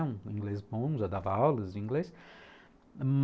Um inglês bom, já dava aulas de inglês.